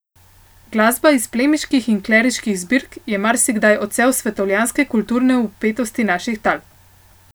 Glasba iz plemiških in kleriških zbirk je marsikdaj odsev svetovljanske kulturne vpetosti naših tal.